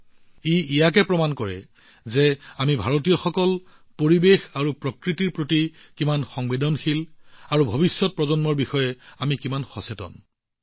ই দেখুৱায় যে আমি ভাৰতীয়সকল পৰিৱেশ আৰু প্ৰকৃতিৰ বিষয়ে কিমান সংবেদনশীল আৰু ভৱিষ্যত প্ৰজন্মৰ বাবে আমাৰ দেশ কেনেদৰে অতি সতৰ্ক